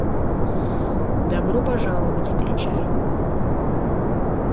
добро пожаловать включай